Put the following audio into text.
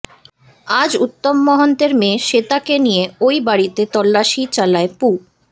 আজ উত্তম মোহন্তের মেয়ে শ্বেতাকে নিয়ে ওই বাড়িতে তল্লাসি চালায় পু